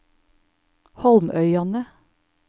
Holmøyane